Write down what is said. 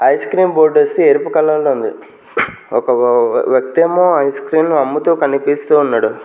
Ice cream board వొస్తే ఎరుపు colour లో ఉంది ఒక వ వ్యక్తేమో ఐస్క్రీములు అమ్ముతూ కనిపిస్తూ ఉన్నాడు.